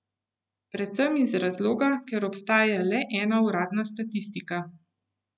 Predvsem iz razloga, ker obstaja le ena uradna statistika.